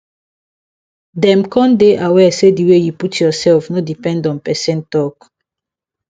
dem con dey aware say the way you put yourself no depend on person talk